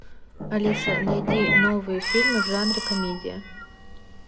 алиса найди новые фильмы в жанре комедия